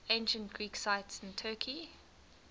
ancient greek sites in turkey